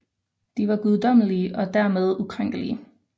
De var guddommelige og dermed ukrænkelige